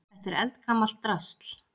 Þetta er eldgamalt drasl.